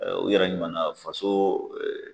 U yɛrɛ ɲuman na faso